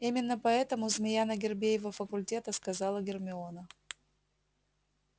именно поэтому змея на гербе его факультета сказала гермиона